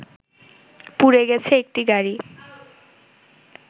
পুড়ে গেছে একটি গাড়ি